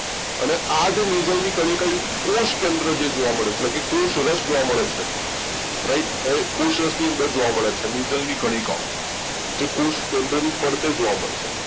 અને આ નિશેલની કનિકા કોષ કેન્દ્ર જોવા મળે છે એટલે કે કોષરસ જોવા મળે છે right કોષ રસ ની અંદર જોવા મળે છે નિઝરની કણિકાઓ જે કોષ કેન્દ્રની ફરતે જોવા મળશે